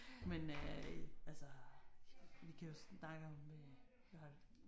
Men øh altså vi kan jo snakke om hvad var det